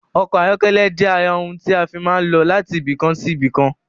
Ọkọ̀ ayọ́kẹ́lẹ́ jẹ ara ohun ti a fii máa ń lọ láti ibìkan sí ibìkan